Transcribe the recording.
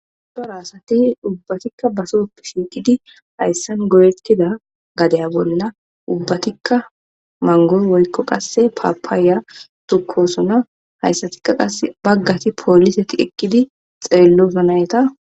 Cora asati ubbatikka basoppe shiiqidi hayssan goyetida gadiya bolla ubbatikka manggo qasse woykko papaya tokkosona. Hayssatikka qasse baggati poliseti eqidi xeelosona etta.